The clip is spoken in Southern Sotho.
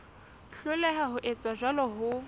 hloleha ho etsa jwalo ho